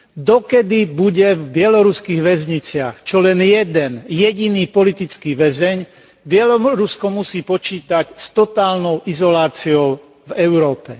Dokiaľ bude v bieloruských väzniciach čo len jeden jediný politický väzeň, Bielorusko musí počítať s totálnou izoláciou v Európe.